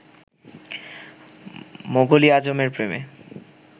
মোগল ই আযমের প্রেমে